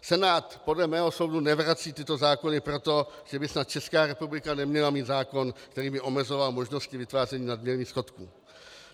Senát podle mého soudu nevrací tyto zákony proto, že by snad Česká republika neměla mít zákon, který by omezoval možnosti vytváření nadměrných schodků.